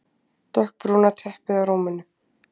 Dökkbrúna teppið á rúminu.